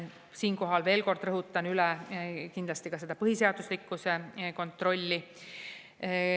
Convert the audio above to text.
Siinkohal veel kord rõhutan üle kindlasti ka põhiseaduslikkuse kontrolli.